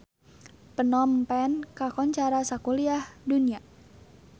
Phnom Penh kakoncara sakuliah dunya